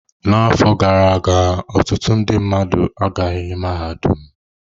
N'afọ gara aga, ọtụtụ ndị mmadụ agaghị mahadum.